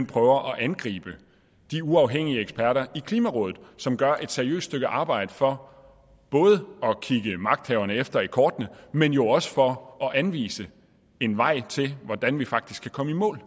prøver at angribe de uafhængige eksperter i klimarådet som gør et seriøst stykke arbejde for både at kigge magthaverne efter i kortene men jo også for at anvise en vej til hvordan vi faktisk kan komme i mål